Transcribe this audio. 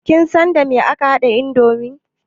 Kin san dame ake haɗa indomi?